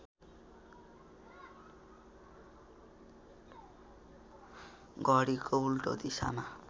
घडीको उल्टो दिशामा